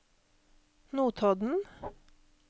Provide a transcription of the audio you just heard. Notodden